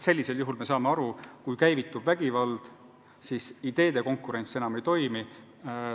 Me ju saame aru, kui käivitub vägivald, siis ideede konkurents enam ei toimi.